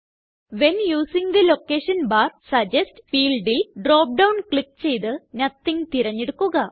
when using the location bar suggest fieldല് drop down click ചെയ്ത് nothing തിരഞ്ഞെടുക്കുക